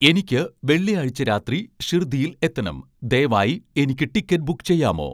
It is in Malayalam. എനിക്ക് വെള്ളിയാഴ്ച രാത്രി ഷിർദിയിൽ എത്തണം ദയവായി എനിക്ക് ടിക്കറ്റ് ബുക്ക് ചെയ്യാമോ